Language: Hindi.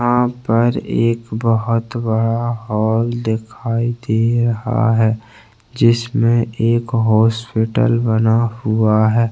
यहाँ पर बहोत बड़ा हॉल दिखाई दे रहा है जिसमे एक हॉस्पिटल बना हुआ है।